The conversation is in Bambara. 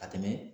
Ka tɛmɛ